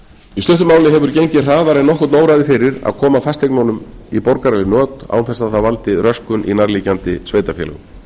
í stuttu máli hefur gengið hraðar en nokkurn óraði fyrir að koma fasteignunum í borgaraleg not án þess að það valdi röskun í nærliggjandi sveitarfélögum